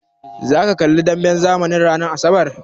Zaka kalli demben zamanin ranar asabar?